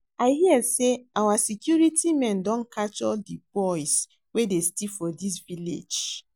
I hear say our security men don catch all the boys wey dey steal for dis village